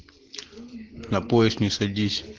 на поезд не садись